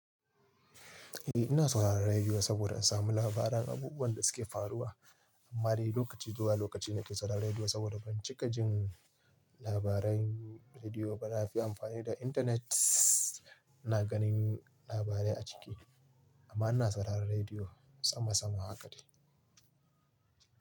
Eh ina sauraron rediyo saboda in samu labaran abubuwan da suke faruwa. Amma dai lokaci zuwa lokaci na ke sauraron rediyo saboda ban cika jin labaran rediyo ba. Na fi amfani da intanet, ina ganin labarai a ciki amma ina sauraron rediyo sama sama haka dai.